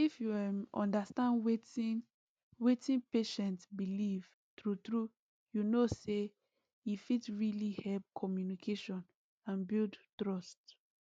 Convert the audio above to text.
if you um understand wetin wetin patient believe true true you know say he fit really help communication and build trust